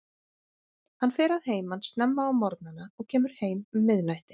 Hann fer að heiman snemma á morgnana og kemur heim um miðnætti.